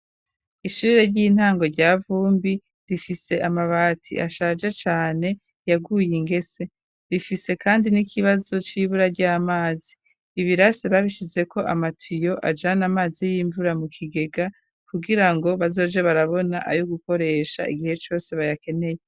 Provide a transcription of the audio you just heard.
Ishure ry'intango rya vumbi rifise amabati ashaje cane yaguye ingese rifise kandi n'ikibazo c'ibura ry'amazi ibirase babishize ko amatiyo ajana amazi y'imvura mu kigega kugira ngo bazoje barabona ayo gukoresha igihe cose bayakeneye.